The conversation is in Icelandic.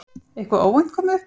Eitthvað óvænt komið upp á?